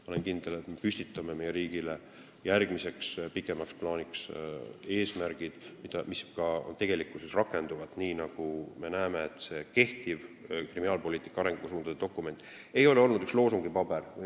Ma olen kindel, et me seame meie riigile järgmiseks pikemaks perioodiks eesmärgid, mis ka tegelikkuses rakenduvad, nii nagu me näeme, et kehtiv kriminaalpoliitika arengusuundade dokument ei ole olnud vaid loosungipaber.